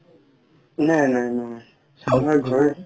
নাই নাই নাই আমাৰ ঘৰৰ